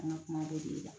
An ka kuma dɔ de bɛ la